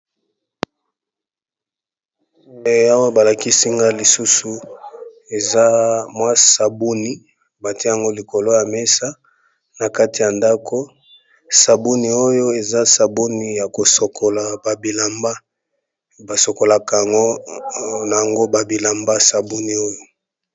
Ehhh balikisi nagai lisisu eza Savon yakosukola ba bilanba